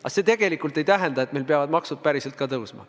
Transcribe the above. Aga see ei tähenda, et meil peavad maksud päriselt ka tõusma.